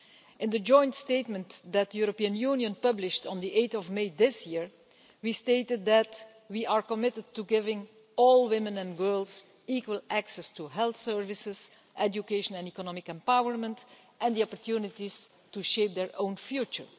In the joint statement that the EU published on 8 May this year, we stated that we are committed to giving all women and girls equal access to health services, education and economic empowerment and opportunities to shape their own future.